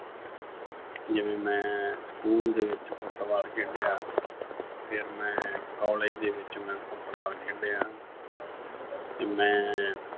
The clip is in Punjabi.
ਜਿਵੇਂ ਮੈਂ school ਦੇ ਵਿੱਚ Football ਖੇਡਿਆ, ਫਿਰ ਮੈਂ college ਦੇ ਵਿੱਚ ਮੈਂ Football ਖੇਡਿਆ ਤੇ ਮੈਂ